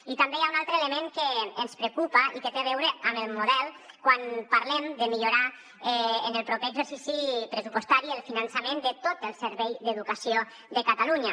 i també hi ha un altre element que ens preocupa i que té a veure amb el model quan parlem de millorar en el proper exercici pressupostari el finançament de tot el servei d’educació de catalunya